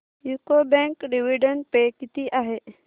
UCO bank dividend पे किती आहे